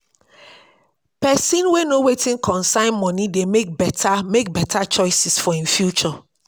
pesin wey know wetin concern moni dey mek beta mek beta choices for im future